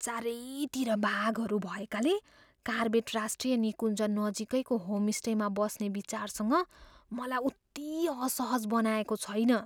चारैतिर बाघहरू भएकाले कार्बेट राष्ट्रिय निकुञ्ज नजिकैको होमस्टेमा बस्ने विचारसँग मलाई उति असहज बनाएको छैन।